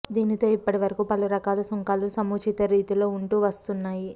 దీనితో ఇప్పటివరకూ పలు రకాల సుంకాలు సముచిత రీతిలో ఉంటూ వస్తున్నాయి